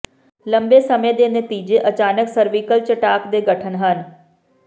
ਲੰਬੇ ਸਮੇਂ ਦੇ ਨਤੀਜੇ ਅਚਾਨਕ ਸਰਵੀਕਲ ਚਟਾਕ ਦੇ ਗਠਨ ਹਨ